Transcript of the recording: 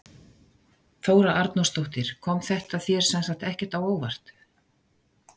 Þóra Arnórsdóttir: Kom þetta þér sem sagt ekkert á óvart?